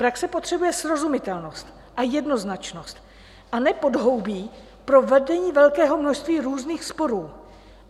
Praxe potřebuje srozumitelnost a jednoznačnost, a ne podhoubí pro vedení velkého množství různých sporů.